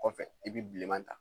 Kɔfɛ i bi bilenman ta